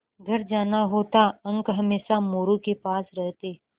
घर जाना होता अंक हमेशा मोरू के पास रहते